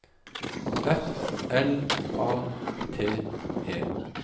F L A T E